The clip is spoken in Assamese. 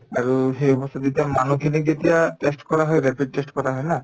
আৰু সেই বস্তুতো এতিয়া মানুহখিনিক এতিয়া test কৰা হয় rapid test কৰা হয় না